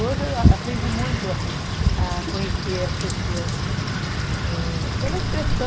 Hoje eu aprendi muito a conhecer as pessoas, ãh pela expressão,